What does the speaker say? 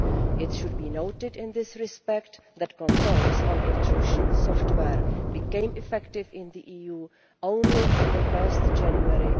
It should be noted in this respect that controls on intrusion software became effective in the EU only on 1 January